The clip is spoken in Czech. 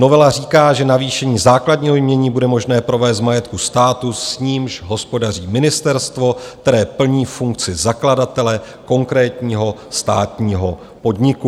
Novela říká, že navýšení základního jmění bude možné provést z majetku státu, s nímž hospodaří ministerstvo, které plní funkci zakladatele konkrétního státního podniku.